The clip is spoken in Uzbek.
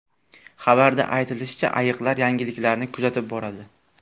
Xabarda aytilishicha, ayiqlar yangiliklarni kuzatib boradi.